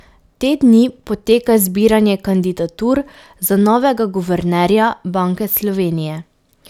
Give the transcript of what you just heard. Te dni poteka zbiranje kandidatur za novega guvernerja Banke Slovenije.